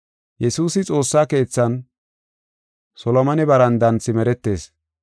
Yesuusi xoossa keethan Solomone barandan simeretees.